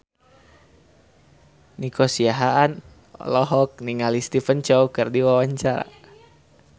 Nico Siahaan olohok ningali Stephen Chow keur diwawancara